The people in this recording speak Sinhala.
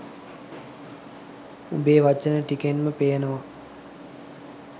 උඹේ වචන ටිකෙන්ම පේනව